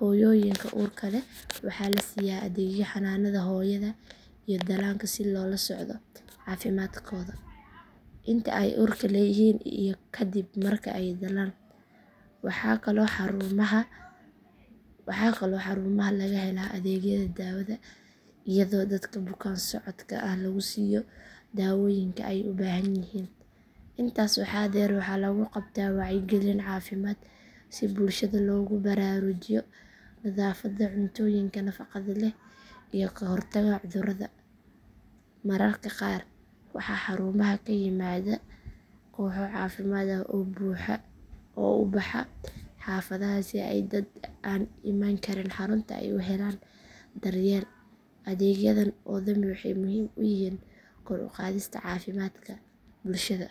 Hooyooyinka uurka leh waxaa la siiyaa adeegyo xanaanada hooyada iyo dhallaanka si loola socdo caafimaadkooda inta ay uurka leeyihiin iyo ka dib marka ay dhalaan. Waxaa kaloo xarumaha laga helaa adeegyada daawada iyadoo dadka bukaan socodka ah lagu siiyo daawooyinka ay u baahanyihiin. Intaas waxaa dheer waxaa lagu qabtaa wacyigelin caafimaad si bulshada loogu baraarujiyo nadaafadda, cuntooyinka nafaqada leh, iyo ka hortagga cudurrada. Mararka qaar waxaa xarumaha ka yimaada kooxo caafimaad oo u baxa xaafadaha si ay dad aan iman karin xarunta ay u helaan daryeel. Adeegyadan oo dhami waxay muhiim u yihiin kor u qaadista caafimaadka bulshada.